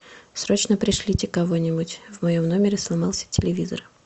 срочно пришлите кого нибудь в моем номере сломался телевизор